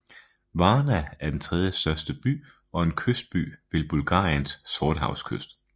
Varna er den tredjestørste by og en kystby ved Bulgariens sortehavskyst